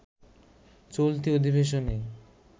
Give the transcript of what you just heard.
চলতি অধিবেশনে